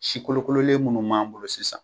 Sikolokololen minnu m'an bolo sisan